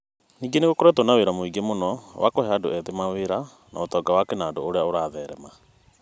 Ningĩ nĩ gũkoretwo na wĩra mũingĩ mũno wa kũhe andũ ethĩ mawĩra, na ũtonga wa kĩnandũ ũrĩa ũratherema.